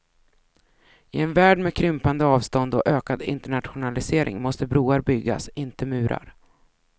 I en värld med krympande avstånd och ökad internationalisering måste broar byggas, inte murar.